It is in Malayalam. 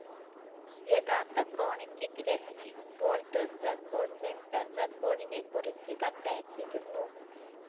യഥാർത്ഥ ക്രോണിക്കിക് രചനയും വോൾട്ടേഴ്സ് റെക്കോർഡ്‌ സെൻസർ റെക്കോർഡിനെക്കുറിച്ച് കത്തയച്ചിരുന്നു.